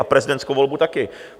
A prezidentskou volbu taky.